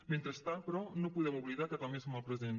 mentrestant però no podem oblidar que també som el present